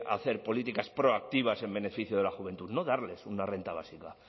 hacer políticas proactivas en beneficio de la juventud no darles una renta básica